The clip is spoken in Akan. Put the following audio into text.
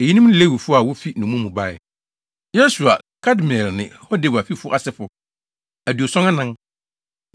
Eyinom ne Lewifo a wofi nnommum mu bae: 1 Yesua (Kadmiel ne Hodewa fifo) asefo 2 74